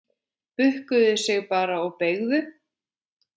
Bukkuðu sig bara og beygðu!